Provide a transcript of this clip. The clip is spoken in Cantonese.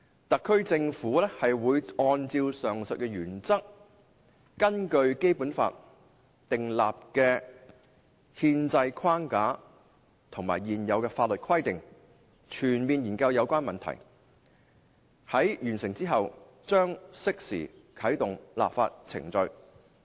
特區政府會按照上述原則，根據《基本法》訂立的憲制框架和現有法律規定，全面研究有關問題，在完成之後，將適時啟動立法程序"。